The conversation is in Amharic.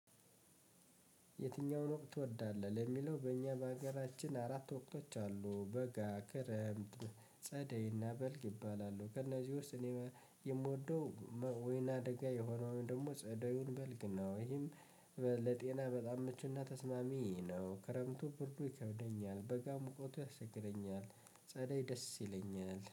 የትኛውን ወቅት ትወዳለህ? ለሚለው በእኛ በሀገራችን አራት ወቅቶች አሉ በጋ ክረምት ጸደይና በልግ ይባላሉ። ከእነዚህ ውስጥ እኔ የምወደው ወይና አደጋ የሆነውን ደግሞ ጸደዩን በልግ ነው። ይህም ለጤና በጣም ምቹና ተስማሚ ነው። ክረምቱ ብርዱ ይከብደኛል በጋ ሙቀቱ ያስቸግረኛል። ጸደይ ደስ ይለኛል